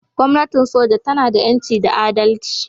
Gwamnatin soja tana da 'yanci da adalci